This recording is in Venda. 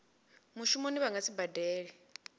mushumoni vha nga si badele